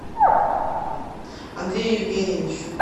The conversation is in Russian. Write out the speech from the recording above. андрею евгеньевичу